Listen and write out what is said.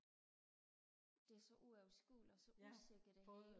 det er så uoverskueligt og så usikkert det hele